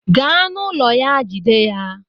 Gaa na ụlọ ya Jide ya!